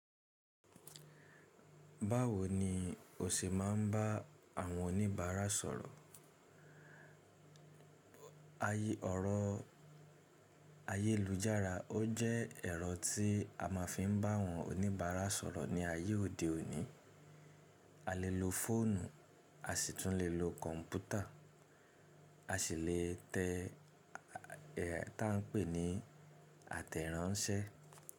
Báwo ni o ṣì máa ń bá àwọn oníbàárà sọ̀rọ̀? Ọ̀rọ̀ ayélujára ó jẹ́ ẹ̀rọ tí a máa fi ń bá àwọn oníbàárà sọ̀rọ̀ ní ayé òde òní. A lè lo fóònù, a sì tún lè lo kọ̀ǹpútà, a sì lè tẹ tá ń pè ní àtẹ̀rànsẹ́.